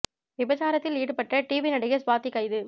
விபச்சாரத்தில் ஈடுபட்ட டிவி நடிகை ஸ்வாதி கைது